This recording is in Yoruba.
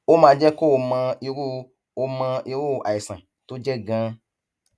ó máa jẹ kó o mọ irú o mọ irú àìsàn tó jẹ ganan